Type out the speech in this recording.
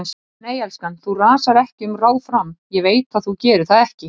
Nei, elskan, þú rasar ekki um ráð fram, ég veit að þú gerir það ekki.